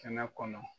Kɛnɛ kɔnɔ